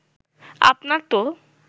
আপনার তো